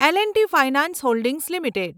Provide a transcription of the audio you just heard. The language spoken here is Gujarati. L and T finance holdings limited